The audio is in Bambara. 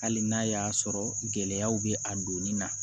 Hali n'a y'a sɔrɔ gɛlɛyaw bɛ a donni na